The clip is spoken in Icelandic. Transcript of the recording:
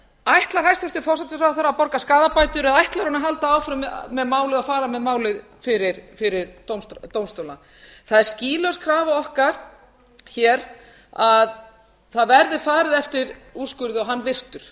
ætlar hæstvirtur forsætisráðherra að borga skaðabætur eða ætlar hún að halda áfram með málið og fara með málið fyrir dómstóla það er skýlaus krafa okkar hér að það verði farið eftir úrskurði og hann virtur